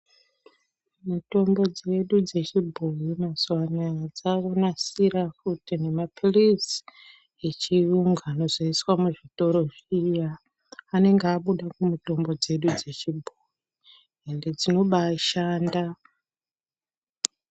Mitombo dzedu dzechibhoyi mazuwa anaya dzakunasira futi nemaphilizi echiyungu anozoiswa muzvitoro zviya. Anenge abuda mumitombo dzedu dzechibhoyi ende dzinobaashanda.